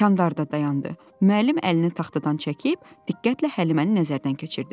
Kənarda dayandı, müəllim əlini taxtadan çəkib diqqətlə Həliməni nəzərdən keçirdi.